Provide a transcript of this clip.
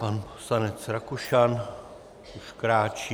Pan poslanec Rakušan už kráčí.